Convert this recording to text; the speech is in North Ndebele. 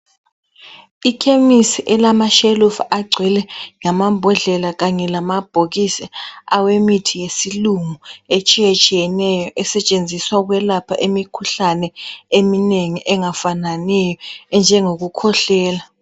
Ikhemisi elamashelufu agcwele lamambodlela kanye lamabhokisi awe mithi yesilungu etshiyetshiyeneyo esetshenziswa ukwelapha imikhuhlane eminengi engafananiyo enjengokukhwehlela.